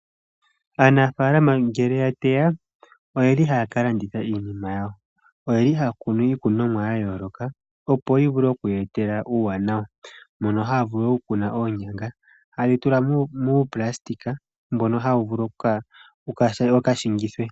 Aanafaalama ngele ya teya oyeli haa ka landitha iinima yawo. Oyeli haa kunu iikunomwa ya yooloka opo yi vule oku ye etela uuwanawa, mono haa vulu oku kuna oonyanga haye dhi tula muupulastika mbono hawu vulu oku ka shingithwa.